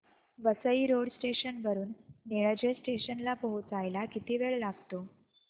Vasai road station वरून Nilje station ला पोहचायला किती वेळ लागतो